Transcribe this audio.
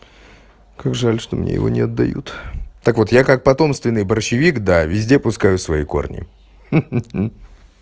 как жаль что мне его не отдают так вот я как потомственный борщевик да везде пускаю свои корни ха-ха-ха